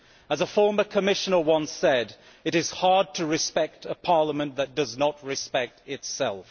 As a former Commissioner once said, it is hard to respect a Parliament that does not respect itself.